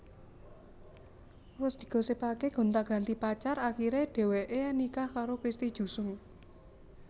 Wus digosipaké gonta ganti pacar akiré dheweké nikah karo Christy Jusung